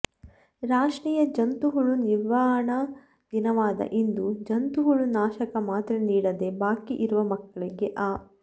ರಾಷ್ಟ್ರೀಯ ಜಂತು ಹುಳು ನಿವಾರಣಾ ದಿನವಾದ ಇಂದು ಜಂತು ಹುಳು ನಾಶಕ ಮಾತ್ರೆ ನೀಡದೆ ಬಾಕಿ ಇರುವ ಮಕ್ಕಳಿಗೆ ಆ